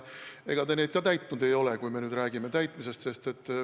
Ega te neid ka täitnud ei ole, kui me nüüd räägime lubaduste täitmisest.